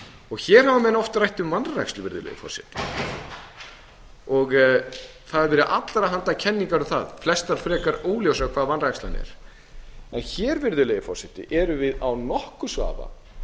hér hafa menn oft rætt um vanrækslu og það hafa verið allra handa kenningar um það flestar frekar óljósar hvað vanrækslan er en hér erum við án nokkurs vafa